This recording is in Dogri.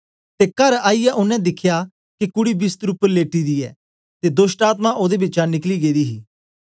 ते कर आईयै ओनें दिखया के कूडी बिस्तर उपर लेटी दी ऐ ते दोष्टआत्मा ओदे बिचा निकली गेदी ही